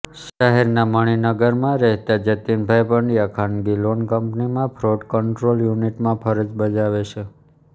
શહેરના મણીનગરમાં રહેતા જતીનભાઇ પંડ્યા ખાનગી લોન કંપનીમાં ફ્રોડ કંટ્રોલ યુનિટમાં ફરજ બજાવે છે